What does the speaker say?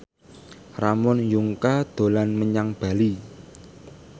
Ramon Yungka dolan menyang Bali